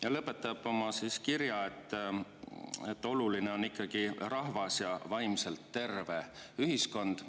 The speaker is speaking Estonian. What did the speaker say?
Ja lõpetab oma kirja: "Oluline on ikkagi rahvas ja vaimselt terve ühiskond.